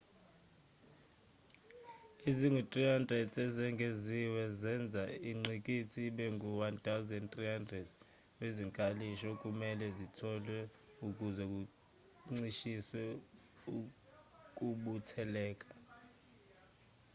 ezingu-300 ezengeziwe zenza ingqikithi ibe ngu-1,300 wezinkalishi okumelwe zitholwe ukuze kuncishiswe ukubutheleka